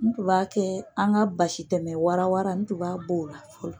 N tun b'a kɛ, an ka basi tɛmɛ wara wara n tun b'a b'o la fɔlɔ